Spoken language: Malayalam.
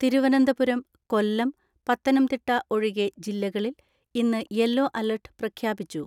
തിരുവനന്തപുരം, കൊല്ലം, പത്തനംതിട്ട ഒഴികെ ജില്ലകളിൽ ഇന്ന് യെല്ലോ അലർട്ട് പ്രഖ്യാപിച്ചു.